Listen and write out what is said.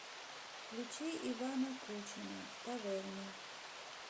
включи ивана кучина в таверне